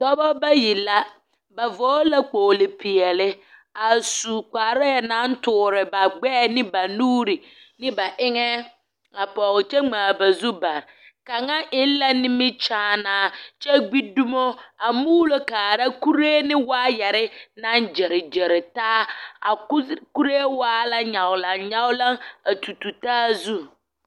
Dɔbɔ bayi la. Ba vɔgle kpoglo peɛle a su kparɛɛ naŋ toore ba gbɛɛ ne ba nuuri ne ba eŋɛ a pɔg kyɛ ŋmaa ba zu bare kaŋa eŋ la nimikyaanaa kyɛ gbi dumo a muulo kaara kuree ne waayɛre naŋ gyere gyere taa a kuree waa la nyaglaŋ nyaglaŋ a tu tu taa zu.